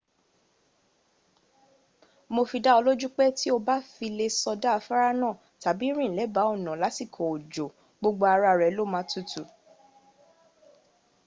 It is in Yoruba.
mo fi dá ọ lójú pé tí o bá fi lè sọdá afárá náà tàbí rìn lẹba ọ̀nà lásìkọ òjò gbogbo ara rẹ lo máa tutù